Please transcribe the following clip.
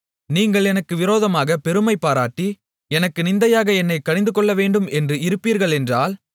நீங்கள் எனக்கு விரோதமாகப் பெருமைபாராட்டி எனக்கு நிந்தையாக என்னைக் கடிந்துகொள்ளவேண்டும் என்று இருப்பீர்கள் என்றால்